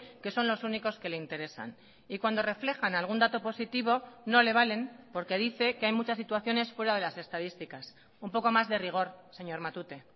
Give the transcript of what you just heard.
que son los únicos que le interesan y cuando reflejan algún dato positivo no le valen porque dice que hay muchas situaciones fuera de las estadísticas un poco más de rigor señor matute